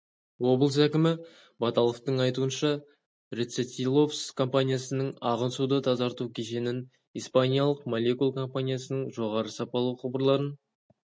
облыс әкімі баталовтың айтуынша рецетиловс компаниясының ағын суды тазарту кешенін испаниялық молекул компаниясының жоғары сапалы құбырларын